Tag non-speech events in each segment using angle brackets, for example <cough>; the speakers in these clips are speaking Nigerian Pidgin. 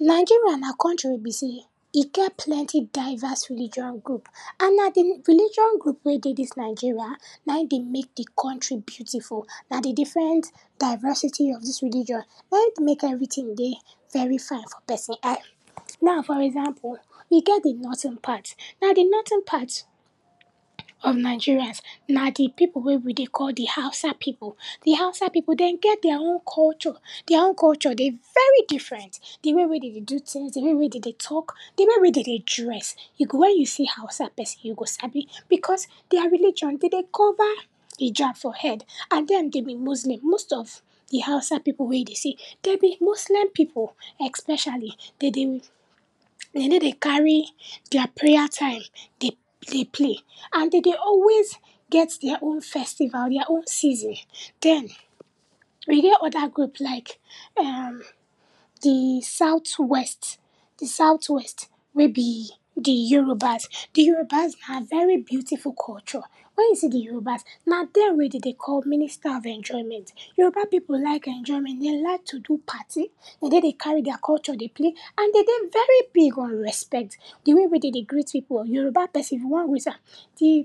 Nigeria na country wey be sey, e get plenty diverse religion group and na di religion group wey dey dis Nigeria nai dey mek di country beautiful. Na di different diversity of dis religion na e dey mek everytin dey very fine for person eye. Now, for example, e get di northern part, na di northern part of Nigerians na di pipu wey we dey call di Hausa pipu, di hausa pipu den get dia own culture, dia own culture dey very different, di way wey den dey do tins, di way wey den dey talk, di way wey den dey dress, e go, when you see hausa person you go sabi because dia religion, den dey cover ijab for head, and dem den be muslim. Most of di hausa pipu wey you dey see, den be muslim pipu, especially um, den dey, den ney dey carry dia prayer time dey, dey play and den dey always get dia own festival, dia own season. Den um, e get oda group like, um, di sout west, di sout west wey be di yorubas. Di yorubas na very beautiful culture, wey you see di yorubas, na den wey den dey call minister of enjoyment. Yoruba pipu like enjoyment, den like to do party, den ney dey carry dia culture dey play, and den dey very big on respect. Di way wey den dey greet pipu, Yoruba person, if you wan greet am, di,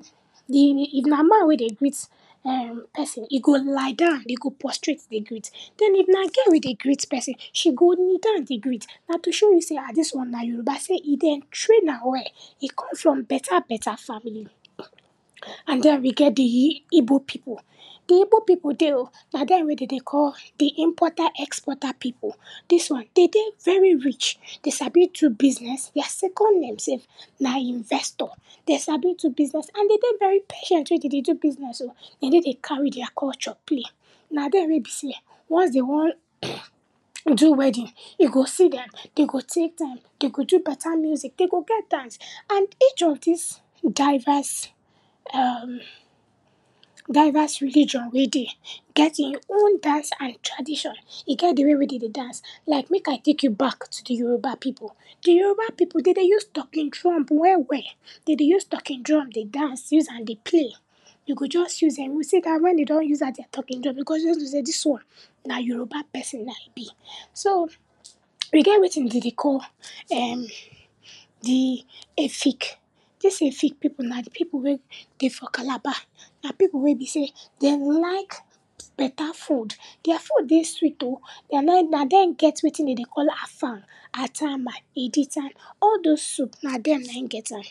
di, if na man wey dey greet um, person, he go lie down, he go prostrate dey greet, den, if na girl wey dey greet person, she go kneel down dey greet, na to show you sey, ah, dis one na Yoruba, sey e, den train am well, e come from beta beta family um. And den, we get di igbo pipu, di igbo pipu dey o, na den wey den dey call di importer exporter pipu. Dis one, den dey very rich, den sabi do business, dia second name sef na investor, den sabi do business and den dey very patient wey den dey do business um, den ney dey carry dia culture play, na den wey be sey, once den wan <coughs> do wedding, e go see den, den go take time, den go do beta music, den go get dance and each of dis diverse um, diverse religion wey dey get e own dance and tradition. E get di way wey den dey dance, like mek I take you back to di Yoruba pipu. Di Yoruba pipu den dey use talking drum well well, den dey use talking drum dey dance, use am dey play, you go just see dem, wen den don use dat dia talking drum, you go just know sey dis one na Yoruba person na e be. So um, we get wetin den dey call um, di efik. Dis efik pipu na di pipu wey dey for Calabar, na pipu wey be sey den like beta food. Dia food dey sweet o, dia na, na dem get wetin den dey call afang, atama, editan, all dose soup na dem nai get am.